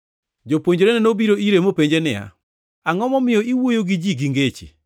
Jopuonjrene nobiro ire mopenje niya, “Angʼo momiyo iwuoyo gi ji gi ngeche?”